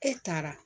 E taara